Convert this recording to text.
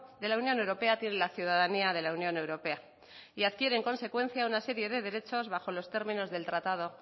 de la unión europea tiene la ciudadanía de la unión europea y adquiere en consecuencia una serie de derechos bajo los términos del tratado